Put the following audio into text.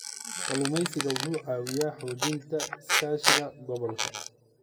Kalluumeysigu wuxuu caawiyaa xoojinta iskaashiga gobolka.